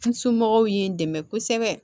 N somɔgɔw ye n dɛmɛ kosɛbɛ